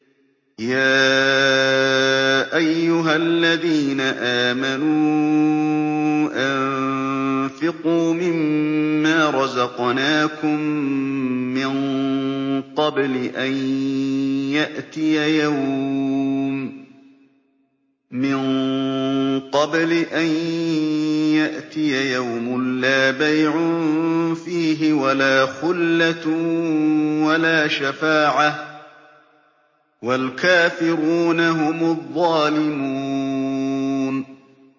يَا أَيُّهَا الَّذِينَ آمَنُوا أَنفِقُوا مِمَّا رَزَقْنَاكُم مِّن قَبْلِ أَن يَأْتِيَ يَوْمٌ لَّا بَيْعٌ فِيهِ وَلَا خُلَّةٌ وَلَا شَفَاعَةٌ ۗ وَالْكَافِرُونَ هُمُ الظَّالِمُونَ